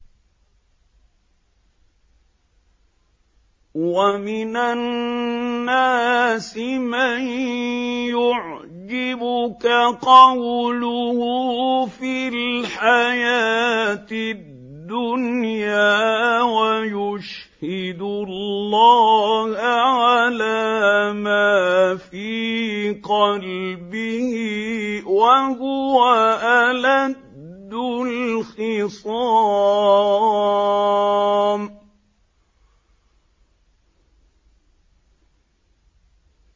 وَمِنَ النَّاسِ مَن يُعْجِبُكَ قَوْلُهُ فِي الْحَيَاةِ الدُّنْيَا وَيُشْهِدُ اللَّهَ عَلَىٰ مَا فِي قَلْبِهِ وَهُوَ أَلَدُّ الْخِصَامِ